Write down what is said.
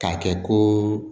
K'a kɛ ko